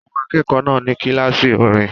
Àwọn akẹ́kọ̀ọ́ náà ní kíláàsì orin